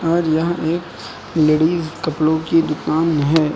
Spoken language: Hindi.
और यहां एक लेडिस कपड़ों की दुकान है।